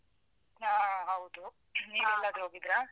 ಹಾ ಹೌದು. . ನೀವೇಲ್ಲಾದ್ರೂ ಹೋಗಿದ್ರಾ?